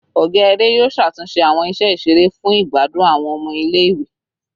Ọga ere yoo ṣatunṣe awọn iṣẹ iṣere fun igbadun awọn ọmọ ile-iwe